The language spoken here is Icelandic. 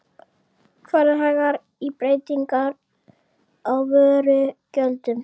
Farið hægar í breytingar á vörugjöldum